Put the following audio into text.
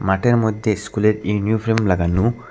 মাঠের মধ্যে স্কুলের ইউনিফ্রর্ম লাগানো।